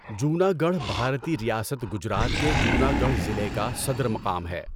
جوناگڑھ بھارتی ریاست گجرات کے جوناگڑھ ضلع کا صدر مقام ہے۔